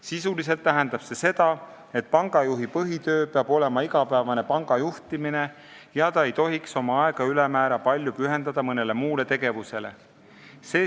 Sisuliselt tähendab see seda, et pangajuhi põhitöö peab olema igapäevane panga juhtimine, ta ei tohiks ülemäära palju aega pühendada mõnele muule tegevusele.